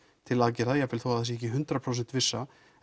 til aðgerða jafnvel þó það sé ekki hundrað prósent vissa